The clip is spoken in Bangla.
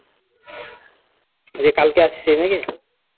নিয়ে কালকে আসছিস নাকি